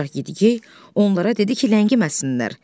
Ancaq Yedi-gey onlara dedi ki, ləngiməsinlər.